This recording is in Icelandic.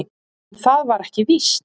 En það var ekki víst.